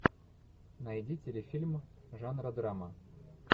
найди телефильм жанра драма